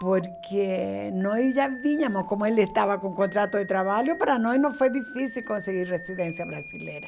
Porque nós já vínhamos, como ele estava com contrato de trabalho, para nós não foi difícil conseguir residência brasileira.